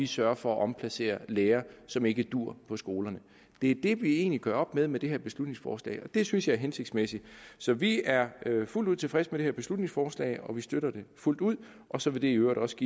sørge for at omplacere lærere som ikke duer på skolerne det er det vi egentlig gør op med med det her beslutningsforslag og det synes jeg er hensigtsmæssigt så vi er fuldt ud tilfredse med det her beslutningsforslag og vi støtter det fuldt ud og så vil det i øvrigt også